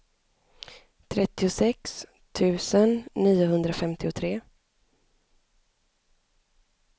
trettiosex tusen niohundrafemtiotre